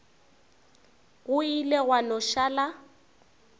go ile gwa no šala